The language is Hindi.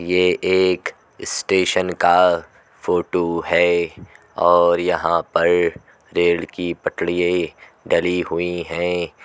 ये एक स्टेशन का फोटो है और यहाँ पर रेल की पतरिये डली हुई हैं।